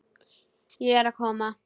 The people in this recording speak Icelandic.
Ég er að koma.